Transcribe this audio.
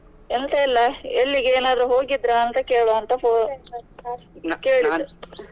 ಎಂತ ಇಲ್ಲ ಎಲ್ಲಿಗೆ ಏನಾದ್ರು ಹೋಗಿದ್ರಾ ಕೇಳುವ ಅಂತ phone ಕೇಳಿದೆ.